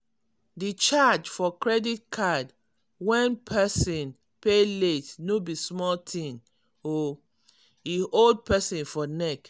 di charge for credit card when persin pay late no be small thing o e hold persin for neck.